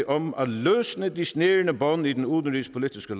om at løsne de snærende bånd i den udenrigspolitiske